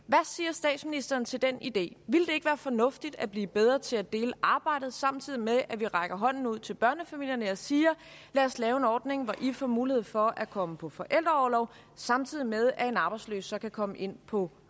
statsministeren til den idé ville det ikke være fornuftigt at blive bedre til at dele arbejdet samtidig med at vi rækker hånden ud til børnefamilierne og siger lad os lave en ordning hvor i får mulighed for at komme på forældreorlov samtidig med at en arbejdsløs så kan komme ind på